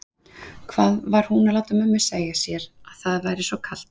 Hvað var hún að láta mömmu segja sér að það væri svo kalt?